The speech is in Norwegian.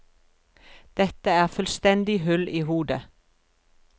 Dette er fullstendig hull i hodet.